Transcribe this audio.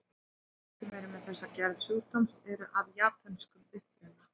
Flestir sem eru með þessa gerð sjúkdómsins eru af japönskum uppruna.